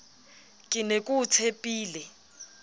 ke ne ke o tshepile